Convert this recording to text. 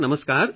નમસ્કાર